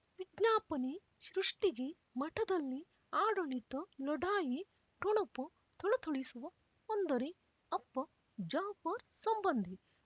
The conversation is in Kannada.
ವಿಜ್ಞಾಪನೆ ಸೃಷ್ಟಿಗೆ ಮಠದಲ್ಲಿ ಆಡಳಿತ ಲಢಾಯಿ ಠೊಣಪ ಥಳಥಳಿಸುವ ಅಂದರೆ ಅಪ್ಪ ಜಾಫರ್ ಸಂಬಂಧಿ